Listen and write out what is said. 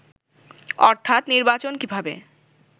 অর্থাৎ নির্বাচন কিভাবে